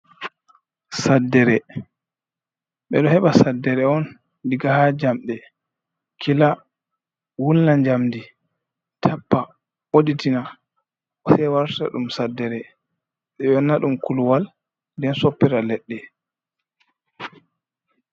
Saddere: Ɓeɗo heɓa saddere on diga haa jamɗe kila wulna njamdi, tappa ɓotitina sai warta ɗum saddere, ɓe wanna ɗum kuluwal nden soppira leɗɗe.